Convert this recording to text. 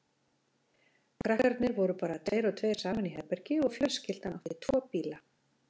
Krakkarnir voru bara tveir og tveir saman í herbergi og fjölskyldan átti tvo bíla.